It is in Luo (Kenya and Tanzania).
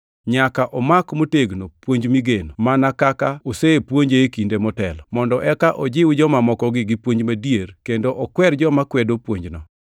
Nyaka omak motegno puonj migeno, mana kaka osepuonje e kinde motelo, mondo eka ojiw joma moko gi puonj madier kendo okwer joma kwedo puonjno.